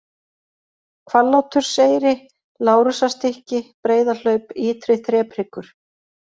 Hvalláturseyri, Lárusarstykki, Breiðahlaup, Ytri-Þrephryggur